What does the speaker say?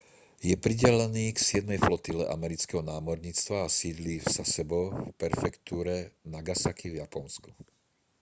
je pridelený k siedmej flotile amerického námorníctva a sídli v sasebo v prefektúre nagasaki v japonsku